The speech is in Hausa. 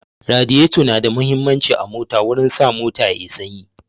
Radiyato na da muhimmanci a mota wurin sa mota yayi sanyi